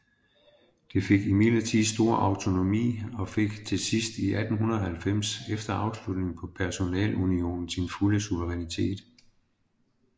Det fik imidlertid stor autonomi og fik til sidst i 1890 efter afslutningen på personalunionen sin fulde suverænitet